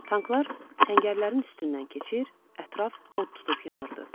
Tanklar səngərlərin üstündən keçir, ətraf od tutub yanırdı.